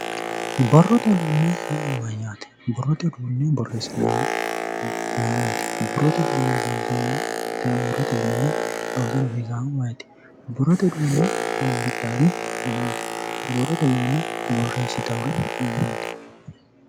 Borrote uduune yaa mayate?.borrote uduune borreesinannihu mayiniti ,borrote uduune loonsannihu mayiniti, borrote uduune horonsidhari ayeeoti, borrote uduune borreesittanori ayeeoti?